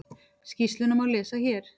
Skýrsluna má lesa hér